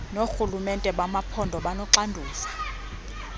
noorhulumente bamaphondo abanoxanduva